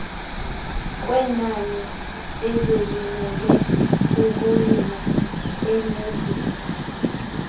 kwenaniebelimele ukuyima enezinga